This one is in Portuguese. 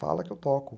Fala que eu toco.